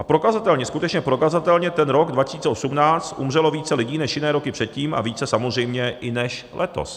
A prokazatelně, skutečně prokazatelně ten rok 2018 umřelo více lidí než jiné roky předtím a více samozřejmě i než letos.